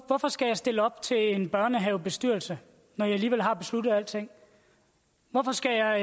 hvorfor skal jeg stille op til en børnehavebestyrelse når i alligevel har besluttet alting hvorfor skal jeg